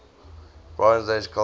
bronze age culture